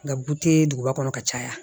Nka bute duguba kɔnɔ ka caya